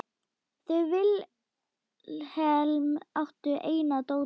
Þau Vilhelm áttu eina dóttur.